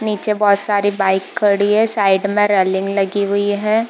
नीचे बहुत सारी बाइक खड़ी है साइड में रेलिंग लगी हुई है।